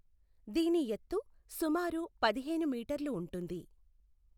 దీని ఎత్తు సుమారు పదిహేను మీటర్లు ఉంటుంది.